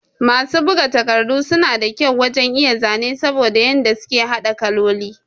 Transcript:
Masu bugu takardu sun da kyau wajan iya zane saboda yadda suke hada kalloli